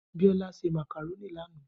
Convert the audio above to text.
Biola se màkàrónì lánàá